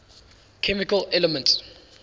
chemical elements